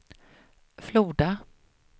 Floda